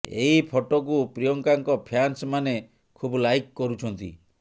ଏହି ଫଟୋକୁ ପ୍ରିୟଙ୍କାଙ୍କ ଫ୍ୟାନ୍ସ ମାନେ ଖୁବ୍ ଲାଇକ୍ କରୁଛନ୍ତି